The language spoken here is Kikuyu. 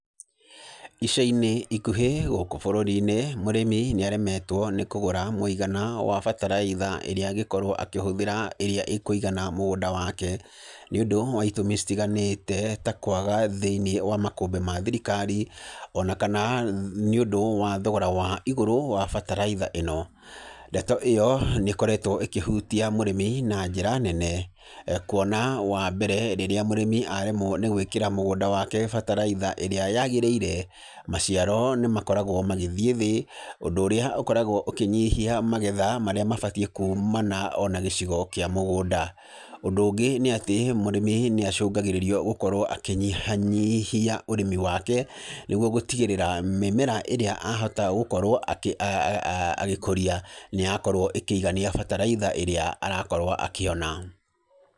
Ica-inĩ ikuhĩ, gũkũ bũrũri-inĩ ,mũrĩmi nĩaremetwo nĩ kũgũra mũigana wa bataraitha ĩrĩa angĩkorwo akĩhũthĩra ĩrĩa ĩkwĩigana mũgũnda wake, nĩ ũndũ wa itũmi citiganĩte, ta kwaga thĩinĩ wa makũmbĩ ma thirikari, onakana nĩũndũ wa thogora wa igũrũ wa bataraitha ĩno, ndeto ĩyo nĩkoretwo ĩkĩhutia mũrĩmi na njĩra nene, kuona wa mbere rĩrĩa mũrĩmi aremwo nĩ gwĩkĩra mũgũnda wake bataraitha ĩrĩa yagĩrĩire, maciaro nĩ makoragwo magĩthiĩ thĩ, ũndũ ũrĩa ũkoragwo ũkĩnyihia magetha marĩa mabatiĩ kũmana onagĩcigo kĩa mũgũnda, ũndũ ũngĩ nĩatĩ, mũrĩmi nĩ acungagĩrĩrio gũkorwo akĩnyihia nyihia ũrĩmi wake, nĩguo gũtigĩrĩra, mĩmera ĩrĩa ahota gũkorwo akĩ a agĩkũria, nĩ yakorwo ĩkĩigania bataraitha ĩrĩa arakorwo akĩona.